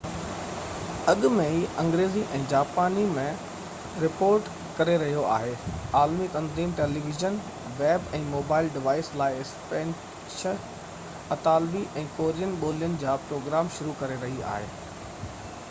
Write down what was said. اڳ ۾ ئي انگريزي ۽ جاپاني ۾ رپورٽ ڪري رهيو آهي عالمي تنظيم ٽيليويزن ويب ۽ موبائل ڊوائيس لاءِ اسپينش اطالوي ۽ ڪورين ٻولين جا پروگرام شروع ڪري رهي آهي